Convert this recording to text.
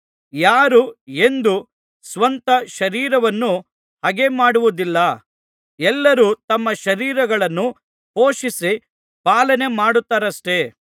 ಯಾರೂ ಎಂದೂ ಸ್ವಂತ ಶರೀರವನ್ನು ಹಗೆಮಾಡಿದ್ದಿಲ್ಲವಲ್ಲ ಎಲ್ಲರೂ ತಮ್ಮ ಶರೀರಗಳನ್ನು ಪೋಷಿಸಿ ಪಾಲನೆ ಮಾಡುತ್ತಾರಷ್ಟೇ